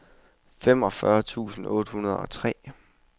femogfyrre tusind otte hundrede og tre